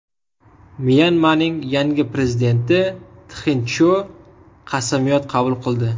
Myanmaning yangi prezidenti Txin Chjo qasamyod qabul qildi.